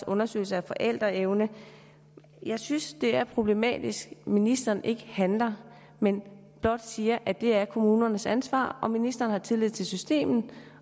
undersøgelser af forældreevnen jeg synes det er problematisk at ministeren ikke handler men blot siger at det er kommunernes ansvar at ministeren har tillid til systemet